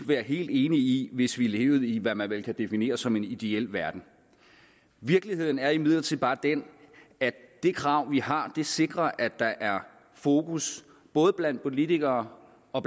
være helt enige i hvis vi levede i hvad man vel kunne definere som en ideel verden virkeligheden er imidlertid bare den at det krav vi har sikrer at der er fokus både blandt politikere og